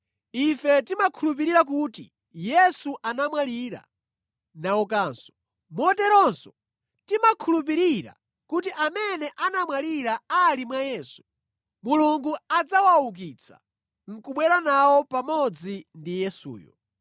Ife timakhulupirira kuti Yesu anamwalira naukanso. Moteronso timakhulupirira kuti amene anamwalira ali mwa Yesu, Mulungu adzawaukitsa nʼkubwera nawo pamodzi ndi Yesuyo.